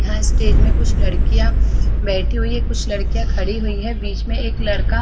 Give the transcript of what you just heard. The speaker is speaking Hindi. यहाँ स्टेज में कुछ लड़कियाँ बैठी हुई है कुछ लड़कियाँ खड़ी हुई है बीच में एक लड़का--